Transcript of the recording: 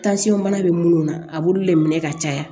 bana bɛ munnu na a b'olu le minɛ ka caya